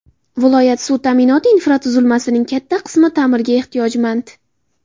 Viloyat suv ta’minoti infratuzilmasining katta qismi ta’mirga ehtiyojmand.